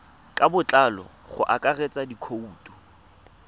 ka botlalo go akaretsa dikhoutu